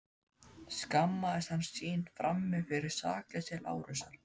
Skammaðist hann sín frammi fyrir sakleysi Lárusar?